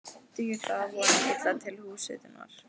Dugir það að vonum illa til húshitunar.